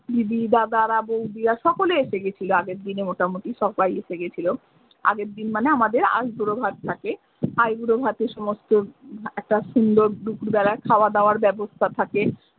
দিদি দাদারা বৌদিরা সকলেই এসে গেছিলো আগের দিনে মোটামুটি সব্বাই এসে গেছিলো আগের দিন মানে আমাদের আই বুড়ো ভাত থাকে আই বুড়ো ভাতে সমস্ত একটা সুন্দর দুপুর বেলায় খাওয়া দাওয়ার বাবস্থা থাকে।